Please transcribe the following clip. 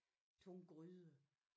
Tunge gryder